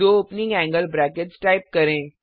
दो opening angle brackets type करें